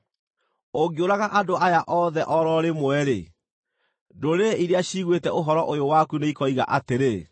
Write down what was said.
Ũngĩũraga andũ aya othe o ro rĩmwe-rĩ, ndũrĩrĩ iria ciiguĩte ũhoro ũyũ waku nĩikoiga atĩrĩ,